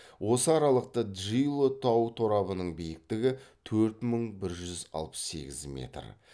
осы аралықта джило тау торабының биіктігі төрт мың бір жүз алпыс сегіз метр